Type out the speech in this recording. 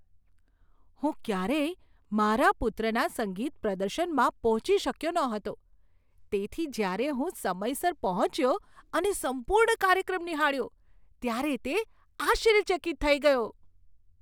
હું ક્યારેય મારા પુત્રના સંગીત પ્રદર્શનમાં પહોંચી શક્યો ન હતો, તેથી જ્યારે હું સમયસર પહોંચ્યો અને સંપૂર્ણ કાર્યક્રમ નિહાળ્યો, ત્યારે તે આશ્ચર્યચકિત થઈ ગયો.